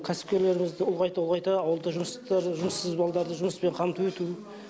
кәсіпкерлерімізді ұлғайта ұлғайта ауылда жұмыстар жұмыссыз балаларды жұмыспен қамту ету